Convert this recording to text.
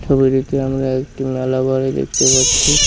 ছবিটিতে আমরা একটি মেলা বাড়ি দেখতে পাচ্ছি।